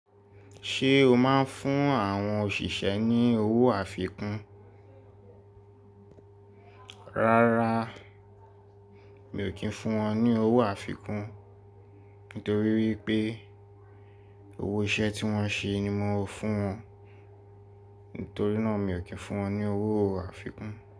Ṣé o máa ń fún àwọn òṣìṣẹ́ ní owó àfikún? Rárá, mi ò kí ń fún wọn ní owó àfikún. Nítorí wípé owó iṣẹ́ tí wón ṣe ni màá fún wọn. Nítorí náà mi ò kí ń fún wọn ní owó àfikún.